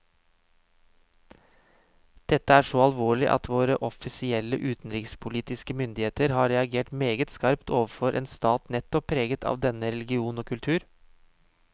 Dette er så alvorlig at våre offisielle utenrikspolitiske myndigheter har reagert meget skarpt overfor en stat nettopp preget av denne religion og kultur.